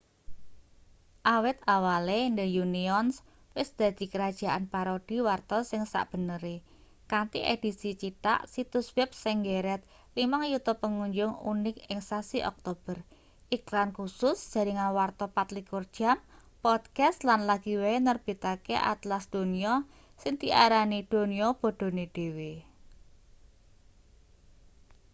awit awale the onion wis dadi kerajaan parodi warta sing sakbenere kanthi edisi cithak situs web sing nggeret 5.000.000 pengunjung unik ing sasi oktober iklan kusus jaringan warta 24 jam podcast lan lagi wae nerbitake atlas donya sing diarani donya bodhone dhewe